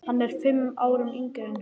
Hann er fimm árum yngri en hún.